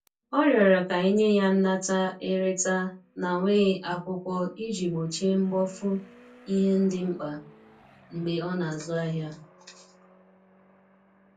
ọ riorọ ka enye ya nnata/ereta na nweghi akwụkwo iji gbochie mgbofu ihe ndi mkpa mgbe ọ na azụ ahia